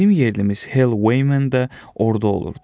Bizim yerlimiz Hell Wayman də orada olurdu.